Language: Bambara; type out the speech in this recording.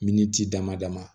Miniti dama dama